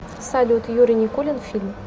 салют юрий никулин фильм